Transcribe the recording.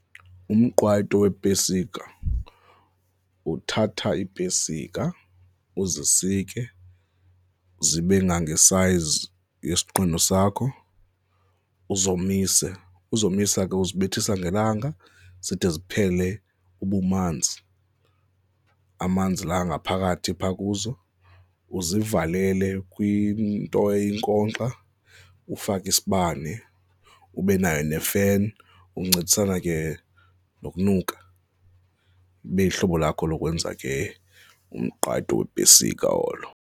Umqwayito weepesika, uthatha iipesika uzisike zibe ngangesayzi sakho, uzomise, uzomise ke uzibethisa ngelanga zide ziphele ubumanzi. Amanzi la angaphakathi phaa kuzo, uzivalele kwinto eyinkonkxa, ufake isibane ube nayo nefeni, ukuncedisana ke nokunuka ibe luhlobo lakho lokwenza ke umqwayito weepesika olo.